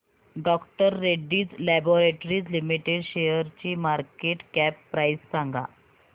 डॉ Reddy's laboratories limited शेअरची market cap price सांगा